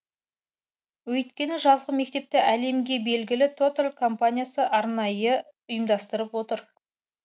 өйткені жазғы мектепті әлемге белгілі тоталь компаниясы арнайы ұйымдастырып отыр